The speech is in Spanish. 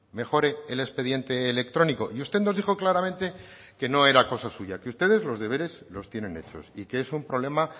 mejore el expediente electrónico y usted nos dijo claramente que no era cosa suya que ustedes los deberes los tienen hechos y que es un problema